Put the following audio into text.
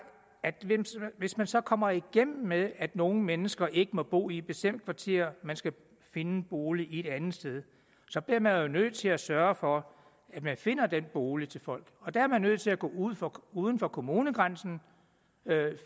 at hvis man så kommer igennem med at nogle mennesker ikke må bo i et bestemt kvarter men skal finde en bolig et andet sted så bliver man jo nødt til at sørge for at man finder den bolig til folk der er man nødt til at gå uden for uden for kommunegrænsen